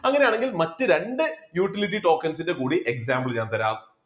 അങ്ങനെയാണെങ്കിൽ മറ്റ് രണ്ട് utility tokens ന്റെ കൂടി example ഞാൻ തരാം